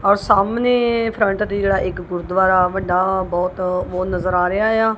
ਔਰ ਸਾਹਮਣੇ ਫਰੰਟ ਤੇ ਜਿਹੜਾ ਇੱਕ ਗੁਰੂਦਵਾਰਾ ਵੱਡਾ ਬਹੁਤ ਵੋ ਨਜ਼ਰ ਆ ਰਿਹਾ ਆ।